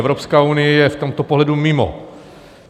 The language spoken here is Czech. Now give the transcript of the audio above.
Evropská unie je v tomto pohledu mimo.